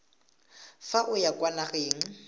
fa o ya kwa nageng